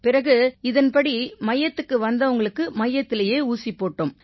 பிறகு இதன்படி மையத்துக்கு வந்தவங்களுக்கு மையத்திலயே ஊசி போட்டோம்